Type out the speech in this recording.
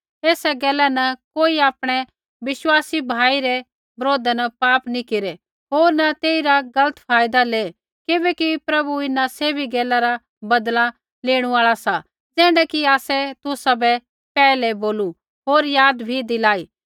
एसा गैला न कोई आपणै विश्वासी भाई रै बरोधा न पाप नी केरै होर न तेइरा गलत फायदा ले किबैकि प्रभु इन्हां सैभी गैला रा बदला लेणू आल़ा सा ज़ैण्ढा कि आसै तुसाबै पैहलै बोलू होर याद बी दिलाई